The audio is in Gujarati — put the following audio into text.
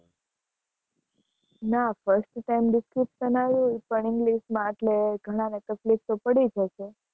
ના firstsem Distinction આયુ હોય પણ ENGLISH માં એટલે ઘણા ને તકલીફ તો પડી જ હશે.